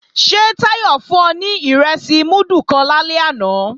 Ṣé Táyọ̀ fún ọ ní ìrẹsì múdù kan lálẹ́ àná